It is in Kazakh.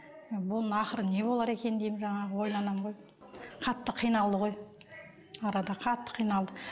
бұның ақыры не болар екен деймін жаңағы ойланамын ғой қатты қиналды ғой арада қатты қиналды